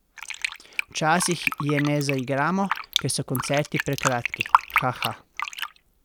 Včasih je ne zaigramo, ker so koncerti prekratki, haha!